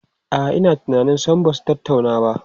A'a, ina tunanin sam ba su tattauna ba.